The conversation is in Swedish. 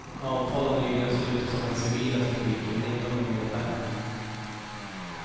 Avtal har nyligen slutits om den civila trafiken men inte om den militära.